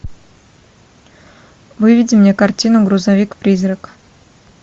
выведи мне картину грузовик призрак